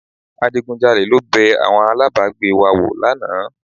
Adigunjalè ló bẹ àwọn alábàágbé wa wò lánàá